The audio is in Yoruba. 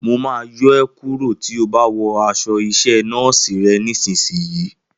Mo máa yọ é kúrò tí o bá wò aṣọ iṣẹ́ nọ́ọ́sì rẹ nísìsiyìí